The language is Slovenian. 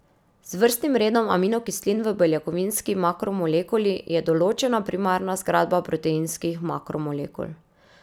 Z vrstnim redom aminokislin v beljakovinski makromolekuli je določena primarna zgradba proteinskih makromolekul.